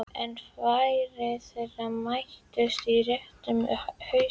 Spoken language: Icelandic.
En varir þeirra mættust í réttum um haustið.